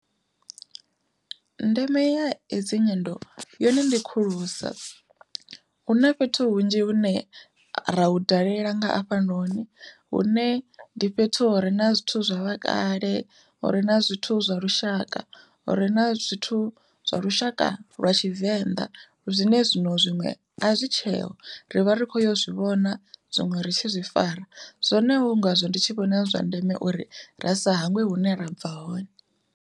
Ndeme ya hedzi nyendo yone ndi khulusa, hu na fhethu hunzhi hune ra hu dalela nga hafhanoni hune ndi fhethu hure na zwithu zwa vhakale, hure na zwithu zwa lushaka, hure na zwithu zwa lushaka lwa tshivenḓa zwine zwino zwiṅwe a zwi tsheo ri vha ri khou yo zwivhona zwiṅwe ri tshi zwi fara zwone hu ngazwo ndi tshi vhona zwi zwa ndeme uri ra sa hangwe hune ra bva hone.